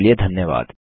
हमसे जुड़ने के लिए धन्यवाद